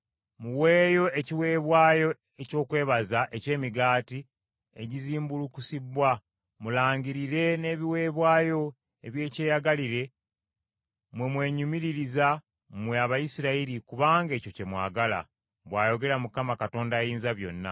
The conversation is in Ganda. Muweeyo ekiweebwayo eky’okwebaza eky’emigaati egizimbulukusibbwa, mulangirire n’ebiweebwayo eby’ekyeyagalire; mwe mwenyumiririza, mmwe Abayisirayiri kubanga ekyo kye mwagala,” bw’ayogera Mukama Katonda Ayinzabyonna.